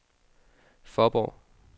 Fåborg